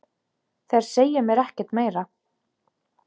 Þeir segja mér ekkert meira.